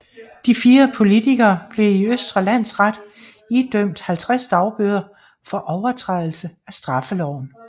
De fire politikere blev i Østre Landsret idømt 50 dagbøder for overtrædelse af straffeloven